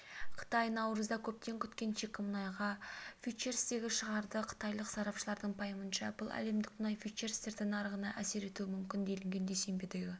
қытай наурызда көптен күткен шикі мұнайға фьючерстерді шығарады қытайлық сарапшылардың пайымынша бұл әлемдік мұнай фьючерстері нарығына әсер етуі мүмкін делінген дүйсенбідегі